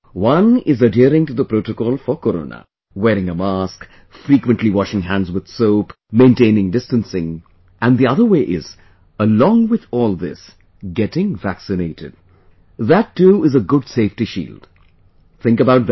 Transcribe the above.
One is adhering to the protocol for Corona wearing a mask, frequently washing hands with soap, maintaining distancing...and the other way is ...along with all this, getting vaccinated...that too is a good safety shield...think about that